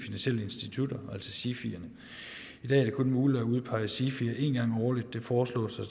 institutter altså sifier i dag er det kun muligt at udpege sifier én gang årligt det foreslås at